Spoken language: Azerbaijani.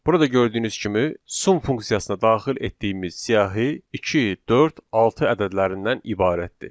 Burada gördüyünüz kimi sum funksiyasına daxil etdiyimiz siyahı 2, 4, 6 ədədlərindən ibarətdir.